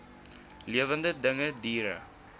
lewende dinge diere